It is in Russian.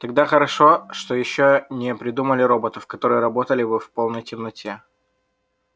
тогда хорошо что ещё не придумали роботов которые работали бы в полной темноте